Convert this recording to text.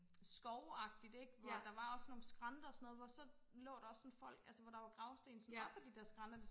skovagtigt ikke hvor der var også nogle skrænter og sådan noget og hvor så lå der også sådan folk altså sådan hvor der var gravsten sådan op ad de der skrænter